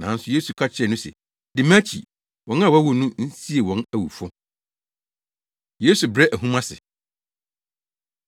Nanso Yesu ka kyerɛɛ no se, “Di mʼakyi. Wɔn a wɔawu no nsie wɔn awufo.” Yesu Brɛ Ahum Ase